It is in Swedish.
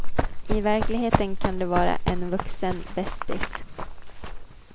I verkligheten kan de vara en vuxen bästis.